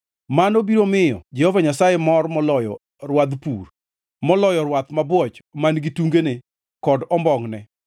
Mano biro miyo Jehova Nyasaye mor moloyo rwadh pur, moloyo rwath mabwoch man-gi tungene kod ombongʼne.